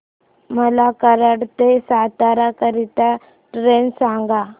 मला कराड ते सातारा करीता ट्रेन सांगा